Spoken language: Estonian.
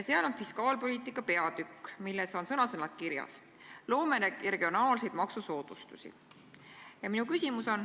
Seal on fiskaalpoliitika peatükk, milles on sõna-sõnalt kirjas: "Loome regionaalseid maksusoodustusi.